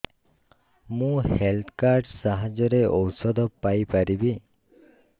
ମୁଁ health card ସାହାଯ୍ୟରେ ଔଷଧ ପାଇ ପାରିବି